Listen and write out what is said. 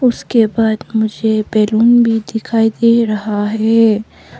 उसके बाद मुझे बैलून भी दिखाई दे रहा है।